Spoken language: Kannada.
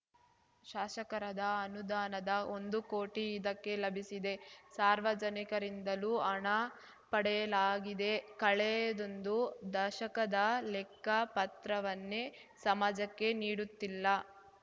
ಶಾಸಕರದ ಅನುದಾನದ ಒಂದು ಕೋಟಿ ಇದಕ್ಕೆ ಲಭಿಸಿದೆ ಸಾರ್ವಜನಿಕರಿಂದಲೂ ಹಣ ಪಡೆಯಲಾಗಿದೆ ಕಳೆದೊಂದು ದಶಕದ ಲೆಕ್ಕಪತ್ರವನ್ನೇ ಸಮಾಜಕ್ಕೆ ನೀಡುತ್ತಿಲ್ಲ